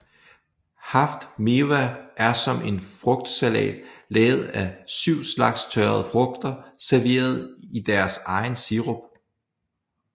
Haft Mewa er som en frugtsalat lavet af syv slags tørrede frugter serveret i deres egen sirup